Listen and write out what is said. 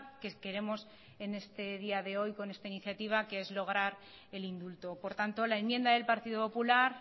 que queremos en este día de hoy con esta iniciativa que es lograr el indulto por tanto la enmienda del partido popular